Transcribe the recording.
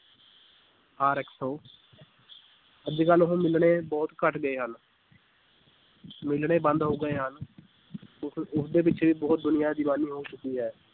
ਅੱਜ ਕੱਲ੍ਹ ਉਹ ਮਿਲਣੇ ਬਹੁਤ ਘੱਟ ਗਏ ਹਨ ਮਿਲਣੇ ਬੰਦ ਹੋ ਗਏ ਹਨ ਉਸ ਉਸਦੇ ਪਿੱਛੇ ਬਹੁਤ ਦੁਨੀਆਂ ਦੀਵਾਨੀ ਹੋ ਚੁੱਕੀ ਹੈ